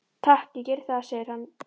Takk, ég geri það, segir hann.